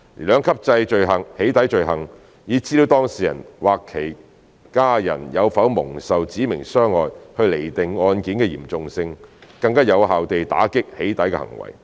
兩級制"起底"罪行以資料當事人或其家人有否蒙受"指明傷害"去釐定案件的嚴重性，更有效地打擊"起底"行為。